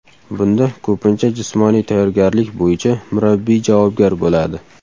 Bunda ko‘pincha jismoniy tayyorgarlik bo‘yicha murabbiy javobgar bo‘ladi.